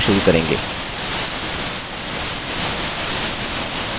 अब हम अक्षर a टाइप करना सीखना शुरू करेंगे